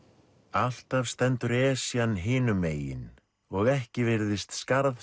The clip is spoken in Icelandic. alltaf stendur Esjan hinum megin og ekki virðist